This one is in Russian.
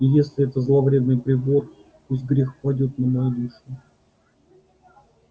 и если это зловредный прибор пусть грех падёт на мою душу